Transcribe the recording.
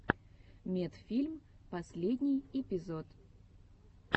медфильм последний эпизод